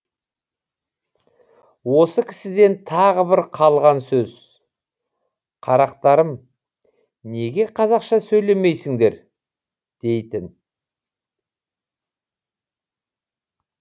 осы кісіден тағы бір қалған сөз қарақтарым неге қазақша сөйлемейсіңдер дейтін